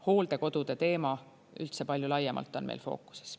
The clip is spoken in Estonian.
Hooldekodude teema üldse palju laiemalt on meil fookuses.